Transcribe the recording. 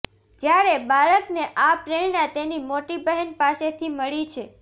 જ્યારે બાળકને આ પ્રેરણા તેની મોટી બહેન પાસેથી મળી છે